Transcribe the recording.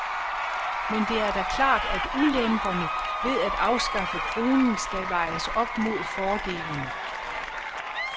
Men det er da klart, at ulemperne ved af afskaffe kronen skal vejes op mod fordelene.